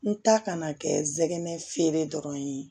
N ta kana kɛ nsɛgɛnɛ feere dɔrɔn ye